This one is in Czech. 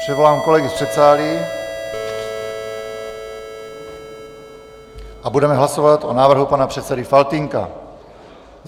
Přivolám kolegy z předsálí a budeme hlasovat o návrhu pana předsedy Faltýnka.